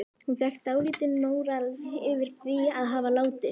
Hún fékk dálítinn móral yfir því að hafa látið